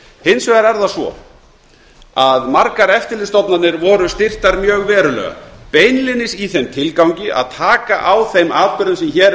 hins vegar er það svo að margar eftirlitsstofnanir voru styrktar mjög verulega beinlínis í þeim tilgangi að taka á þeim atburðum sem hér